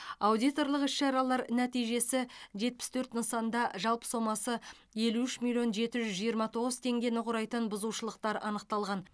аудиторлық іс шаралар нәтижесі жетпіс төрт нысанда жалпы сомасы елу үш миллион жеті жүз жиырма тоғыз теңгені құрайтын бұзушылықтар анықталған